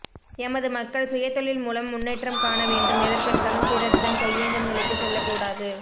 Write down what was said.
எமது மக்கள் சுயதொழில் மூலம் முன்னேற்றம் காண வேண்டும் எதற்கெடுத்தாலும் பிறரிடம் கையேந்தும் நிலைக்கு செல்லக்கடாது